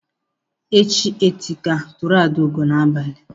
Echi eteka tụrụ Adaugo n'abalị.